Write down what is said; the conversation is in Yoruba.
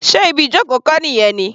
Sé ibi ìjoko kọ́ nìyí ni?